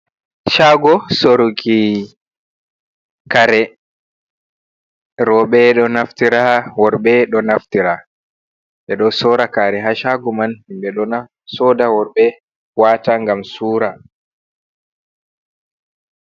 Shago soruki kare robe do naftira worbe do naftira edo sora kare ha shago man himbe dona soda worbe wata gam sura.